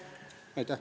Aitäh!